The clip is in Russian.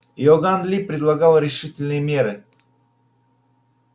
иоганн ли предлагал решительные меры